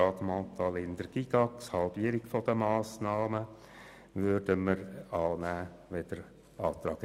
Die Planungserklärung 6 Grüne/SPJUSO-PSA, wonach auf die Erhöhung der Patientenbeteiligung zu verzichten sei, nehmen wir an.